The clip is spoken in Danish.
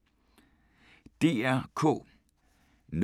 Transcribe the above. DR K